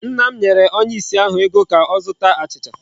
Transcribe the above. Nna m nyere onye ìsì ahụ ego ka ọ zụta achịcha.